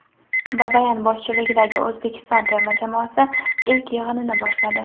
Babayan boshchiligidagi O‘zbekiston terma jamoasi ilk yig‘inini boshladi .